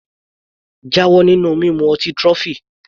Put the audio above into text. Jáwọ́ nínú mímu ọtí trophy!